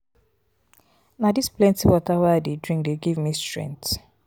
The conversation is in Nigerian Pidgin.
na dis plenty water wey i dey drink dey give me strength.